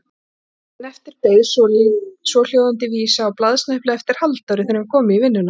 Daginn eftir beið svohljóðandi vísa á blaðsnepli eftir Halldóri þegar hann kom í vinnuna